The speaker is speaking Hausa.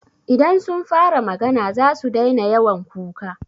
Idan sun fara magana zasu daina yawan kuka.